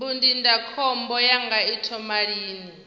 mbu ndindakhombo yanga i thoma lini